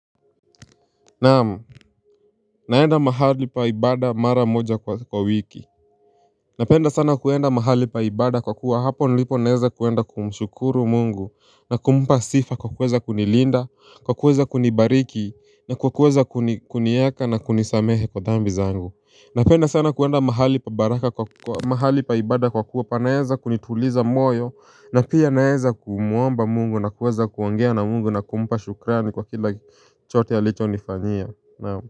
Naam, naenda mahali pa ibada mara moja kwa wiki Napenda sana kuenda mahali pa ibada kwa kuwa hapo nilipo naeza kuenda kumshukuru mungu na kumpa sifa kwa kuweza kunilinda, kwa kuweza kunibariki na kwa kuweza kunieka na kunisamehe kwa dhambi zangu Napenda sana kuenda mahali pa ibada kwa kuwa panaeza kunituliza moyo na pia naeza kumwomba mungu na kuweza kuongea na mungu na kumpa shukrani kwa kila chote alicho nifanyia naamu.